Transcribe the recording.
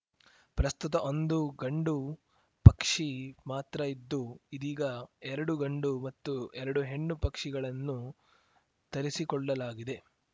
ಪ್ರಸ್ತುತ ಒಂದು ಗಂಡು ಪಕ್ಷಿ ಮಾತ್ರ ಇದ್ದು ಇದೀಗ ಎರಡು ಗಂಡು ಮತ್ತು ಎರಡು ಹೆಣ್ಣು ಪಕ್ಷಿಗಳನ್ನು ತರಿಸಿಕೊಳ್ಳಲಾಗಿದೆ